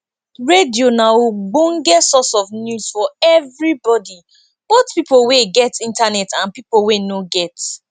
radio na ogbonge source of news for everybody both pipo wey get internet and pipo wey no get